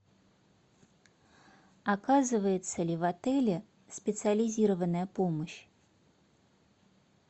оказывается ли в отеле специализированная помощь